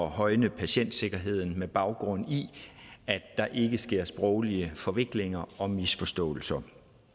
højne patientsikkerheden med baggrund i at der ikke sker sproglige forviklinger og misforståelser